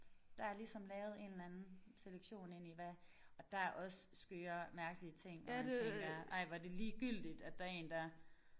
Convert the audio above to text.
Der er ligesom lavet en eller anden selektion ind i hvad og der er også skøre mærkelige ting hvor jeg tænker ej hvor er det ligegyldigt at der én der